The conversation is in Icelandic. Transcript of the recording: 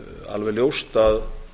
alveg ljóst að